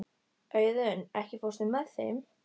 Auðunn, ekki fórstu með þeim?